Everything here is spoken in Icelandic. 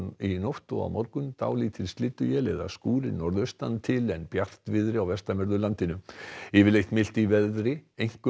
í nótt og á morgun dálítil slydduél eða skúrir norðaustan til en bjartviðri á vestanverðu landinu yfirleitt milt í veðri einkum